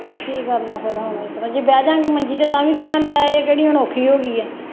ਚੱਲੋ ਕੀ ਕਰਨਾ ਫੇਰ ਹੁਣ ਇਸ ਤਰ੍ਹਾਂ ਜੇ ਬਹਿ ਜਾਂ ਗੇ ਮੰਜ਼ੀ ਤੇ ਤਾਂ ਵੀ ਕਹਿਣਾ ਲੈ ਇਹ ਕਿਹੜੀ ਹੁਣ ਔਖੀ ਹੋ ਗਈ ਹੈ